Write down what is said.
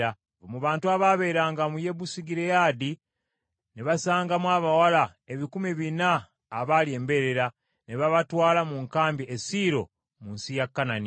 Mu bantu abaabeeranga mu Yabesugireyaadi ne basangamu abawala ebikumi bina abaali embeerera, ne babatwala mu nkambi e Siiro mu nsi ya Kanani.